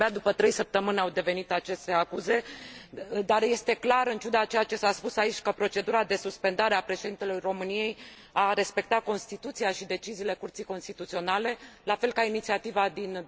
De abia după trei săptămâni au venit aceste acuze, dar este clar, în ciuda a ceea ce s a spus aici, că procedura de suspendare a președintelui României a respectat Constituția și deciziile Curții Constituționale, la fel ca inițiativa din